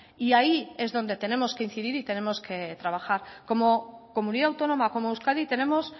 y ahí es donde tenemos que incidir y tenemos que trabajar como comunidad autónoma como euskadi tenemos